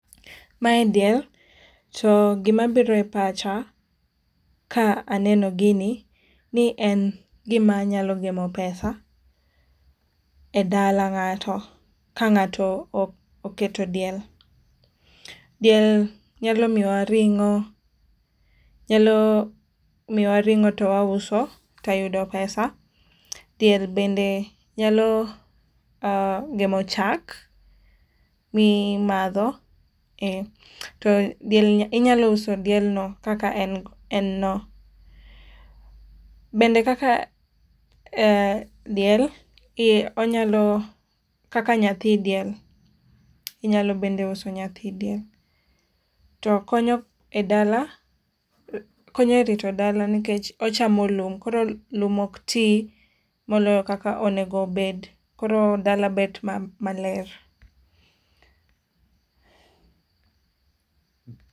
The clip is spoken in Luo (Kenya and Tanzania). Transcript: Mae diel to gima biro e pacha ka aneno gini ni en gim anyalo gemo pesa e dala ngato ka ngato oketo diel. Diel nyalo miyowa ringo, nyalo miyo wa ringo to wauso to wayudo pesa. Diel bende nyalo gemo cham ma imadho to diel be, inyalo uso diel no kaka en no. Bende kaka , eeh, diel ,onyalo, kaka nyathi diel inyalo bende uso nyathi diel ,to konyo e dala ,konyo e rito dala nikech ochamo lum koro lum ok ti moloyo kaka owinjo obed, koro dala bet maler